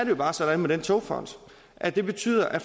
jo bare sådan med den togfond at den betyder at